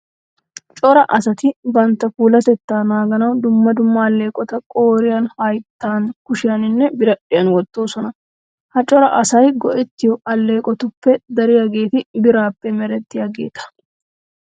Cora asati bantta puulatettaa naaganawu dumma dumma alleeqota qooriyan, hayttan, kushiyaninne biradhdhiyan wottoosona. Ha cora asay go"ettiyo alleeqotuppe dariyageeti biraappe merettidaageeta.